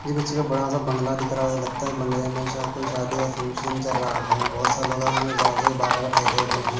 ये किसी का बड़ा सा बंगला दिख रहा हैं लगता हैं इस बंगले में श कोई शादी का फंक्शन चल रहा हैं बहुत साल हो गये हैं दरवाजे के बाहर ठहरे हुए हैं।